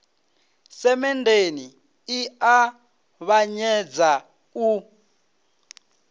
semenndeni i a ṱavhanyedza u